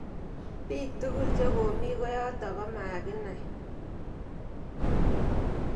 Piik tukul che komi koyotok komakinoch.